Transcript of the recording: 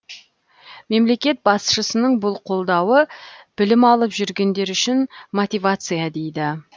мемлекет басшысының бұл қолдауы білім алып жүргендер үшін мотивация дейді